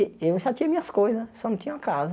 Eh eu já tinha minhas coisas, só não tinha uma casa.